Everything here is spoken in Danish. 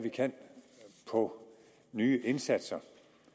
vi kan på nye indsatser